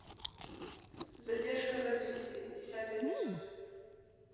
задержка в развитии десятый эпизод